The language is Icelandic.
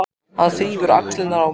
Hann þrífur í axlirnar á mér.